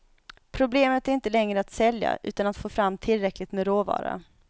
Problemet är inte längre att sälja, utan att få fram tillräckligt med råvara.